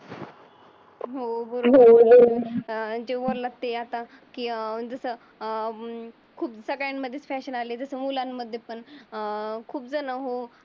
किंवा जे म्हणलं ते आता की अं जस अं खूप सगळ्यांमध्ये फॅशन आली मुलांमध्ये पण अं खूप झण हो